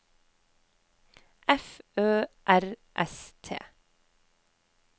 F Ø R S T